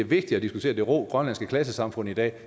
vigtigt at diskutere det rå grønlandske klassesamfund i dag